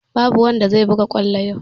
Babu wanda zai buga kwallo yau!